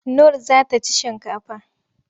Nur za ta ci shinkafa.